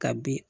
Ka bin